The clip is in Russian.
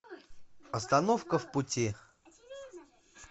остановка в пути